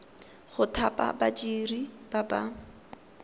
go thapa badiri ba ba